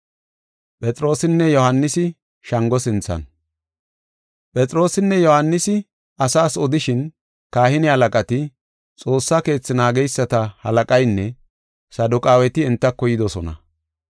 Phexroosinne Yohaanisi asaas odishin kahine halaqati, Xoossa Keethe naageysata halaqaynne Saduqaaweti entako yidosona.